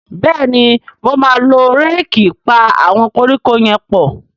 Béèni mọ má ló Réèkì pá àwọn koríko yén pọ.